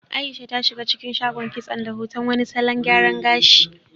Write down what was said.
Aisha ta shiga cikin shagon kitson da hoton wani salon gyaran gashi.